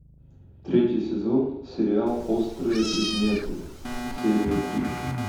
третий сезон сериал острые предметы серия три